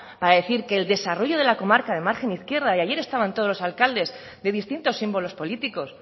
para decir que el desarrollo de la comarca de margen izquierda y ayer estaban todos los alcaldes de distintos símbolos políticos